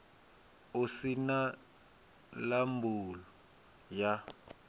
u si na labulu ya